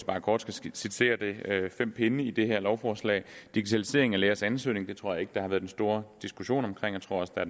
bare kort skitsere det fem pinde i det her lovforslag der digitaliseringen af lægers ansøgninger det tror jeg ikke der har været en stor diskussion om og jeg tror også der